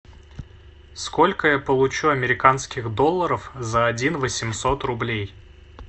сколько я получу американских долларов за один восемьсот рублей